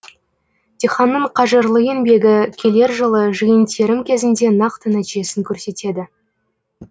диқанның қажырлы еңбегі келер жылы жиын терім кезінде нақты нәтижесін көрсетеді